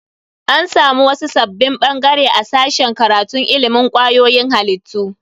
An samu wasu sabbin bangare a sashen karatun ilimin kwayoyin halittu.